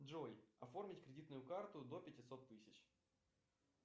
джой оформить кредитную карту до пятисот тысяч